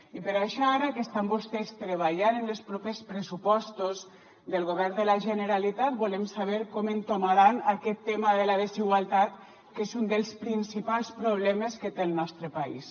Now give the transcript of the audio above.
i per això ara que estan vostès treballant en els propers pressupostos del govern de la generalitat volem saber com entomaran aquest tema de la desigualtat que és un dels principals problemes que té el nostre país